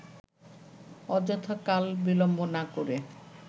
অযথা কাল-বিলম্ব না করে